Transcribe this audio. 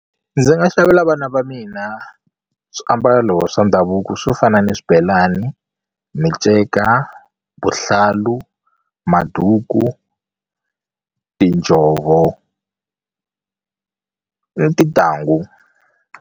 Ndzi nga xavela vana va mina swiambalo swa ndhavuko swo fana ni swibelani, miceka, vuhlalu, maduku tinjhovo, ni tintangu.